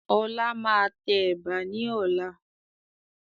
Ọlá máa tẹ Ẹ̀bà ni ọ̀la.